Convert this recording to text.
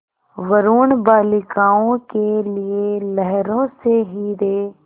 वरूण बालिकाओं के लिए लहरों से हीरे